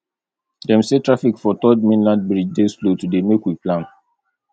dem say traffic for third mainland bridge dey slow today make we plan